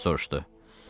Thomas soruşdu.